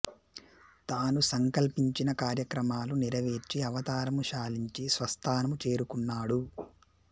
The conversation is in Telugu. తాను సంకల్పించిన కార్యక్రమాలు నెరవేర్చి అవతారము చాలించి స్వస్థానము చేరుకున్నాడు